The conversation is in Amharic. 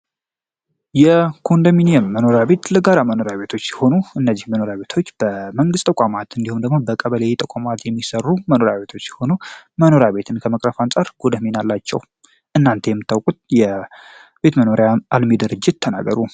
የኮንዶሚኒየም መኖሪያ ቤት ለጋራ መኖሪያ ቤት ሲሆኑ መኖሪያ ቤቶች በመንግስት ተቋማት ወይም በቀበሌ ጥቆማ የሚሰሩ የመኖሪያ ቤቶች ሲሆኑ የመኖሪያ ቤትን ከመቅረፍ አንፃር ጠቀሜታ አላቸው። እናንተ መታወቁትን የቤት መኖሪያ አልሚ ድርጅት ተናገሩ?